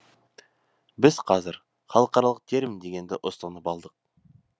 біз қазір халықаралық термин дегенді ұстанып алдық